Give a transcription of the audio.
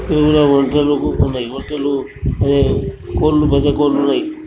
ఈడ ఒంటెలు కుసున్నాయి. ఒంటెలు అదే కోళ్ళు గజకోళ్ళు ఉన్నాయి.